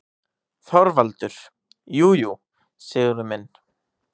ÞORVALDUR: Jú, jú, Sigurður minn.